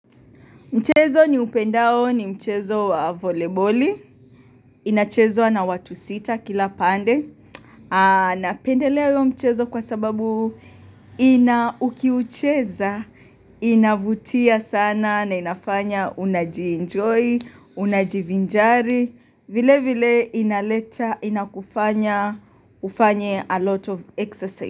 Mchezo ni upendao ni mchezo wa voleboli. Inachezwa na watu sita kila pande. Anapendelea uyo mchezo kwa sababu ina ukiucheza. Inavutia sana na inafanya unaji enjoy, unajivinjari. Vile vile inaleta, inakufanya, ufanye a lot of exercise.